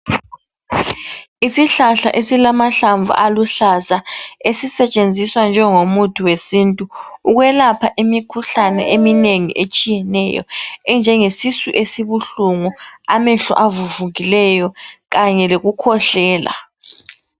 Isihlahla esilamahlamvu aluhlaza esisetshenziswa njengo muthi wesintu ukwelapha imikhuhlane eminengi etshiyeneyo enjenge sisu esibuhlungu, amehlo avuvukileyo kanye lokukhwehlela .